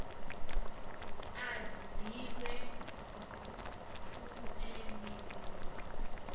a ḓivhe toe ni ḓo